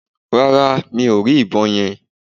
Rárá, mi ò rí ìbọn yẹn